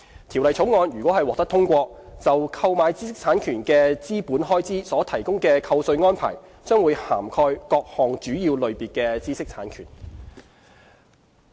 《條例草案》如獲通過，就購買知識產權的資本開支所提供的扣稅安排，將會涵蓋各項主要類別的知識產權。